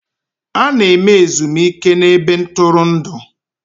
A na-eme ezumike na ebe ntụrụndụ